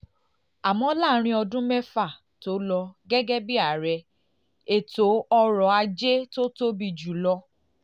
àmọ́ láàárín ọdún mẹ́fà tó lò gẹ́gẹ́ bí ààrẹ ètò ọrọ̀ ajé tó tóbi jù lọ